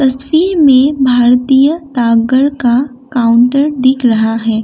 तस्वीर में भारतीय डाकघर का काउंटर दिख रहा है।